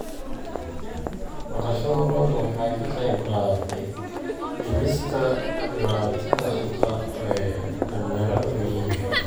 Dhaqashada lo'du waxay ka qayb qaadatay dhimista dhibaatada shaqo ee dhalinyarada miyiga.